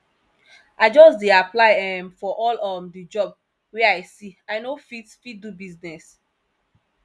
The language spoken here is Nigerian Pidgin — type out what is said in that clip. i just dey apply um for all um di job wey i see i no fit fit do business